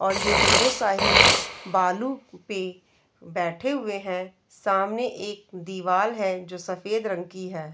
और ये दोनों साहिल बालू पे बैठे हुए है सामने एक दीवाल है जो सफ़ेद रंग की है।